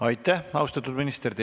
Aitäh, austatud minister!